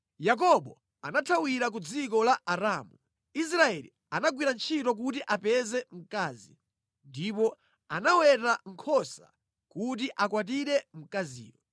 Yakobo anathawira ku dziko la Aramu, Israeli anagwira ntchito kuti apeze mkazi, ndipo anaweta nkhosa kuti akwatire mkaziyo.